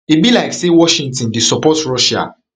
e be like say washington dey support russia